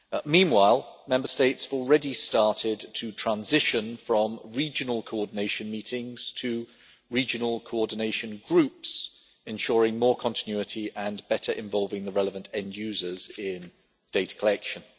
Meanwhile, Member States have already started to transition from regional coordination meetings to regional coordination groups, ensuring more continuity and better involving the relevant end users in data collection.